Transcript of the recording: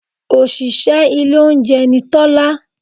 Òṣìṣẹ́ ilé oúnjẹ ni Tọ́lá